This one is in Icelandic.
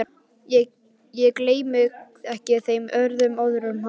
Ég gleymi ekki þeim orðum hans.